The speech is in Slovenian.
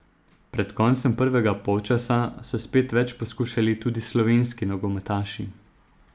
Pred koncem prvega polčasa so spet več poskušali tudi slovenski nogometaši.